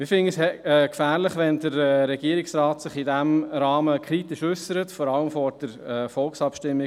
Wir finden es gefährlich, wenn sich der Regierungsrat in diesem Rahmen kritisch äussert, vor allem vor der bevorstehenden Volksabstimmung.